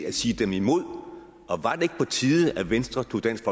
at sige dem imod og var det ikke på tide at venstre tog dansk